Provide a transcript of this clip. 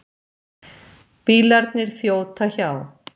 Bílarnir þjóta hjá.